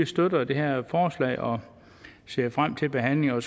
støtter det her forslag og ser frem til behandlingen